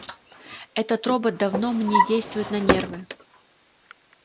этот робот давно мне действует на нервы